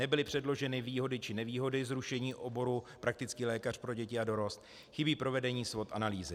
Nebyly předloženy výhody či nevýhody zrušení oboru praktický lékař pro děti a dorost, chybí provedení SWOT analýzy.